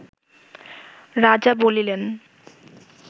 রাজা বলিলেন